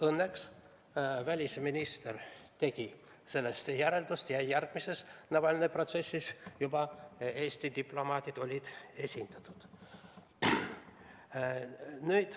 Õnneks tegi välisminister sellest omad järeldused ja järgmisel Navalnõi protsessil olid esindatud juba ka Eesti diplomaadid.